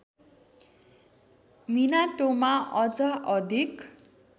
मिनातोमा अझ अधिक